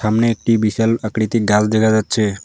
সামনে একটি বিশাল আকৃতি গাছ দেখা যাচ্ছে।